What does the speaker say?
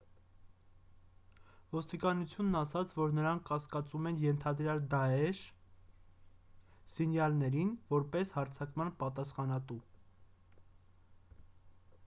ոստիկանությունն ասաց որ նրանք կասկածում են ենթադրյալ դաեշ իլիպ զինյալներին՝ որպես հարձակման պատասխանատու: